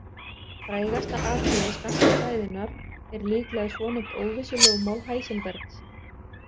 Frægasta atriði skammtafræðinnar er líklega svonefnt óvissulögmál Heisenbergs.